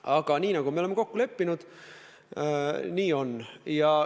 Aga nii nagu me oleme kokku leppinud, nii on.